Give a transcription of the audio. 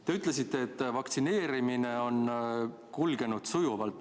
Te ütlesite, et vaktsineerimine on kulgenud sujuvalt.